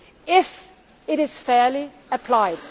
it, if it is fairly applied.